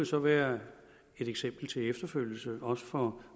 så være et eksempel til efterfølgelse også for